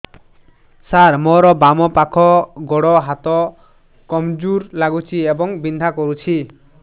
ସାର ମୋର ବାମ ପାଖ ଗୋଡ ହାତ କମଜୁର ଲାଗୁଛି ଏବଂ ବିନ୍ଧା କରୁଛି